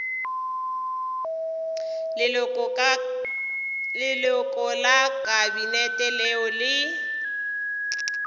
leloko la kabinete leo le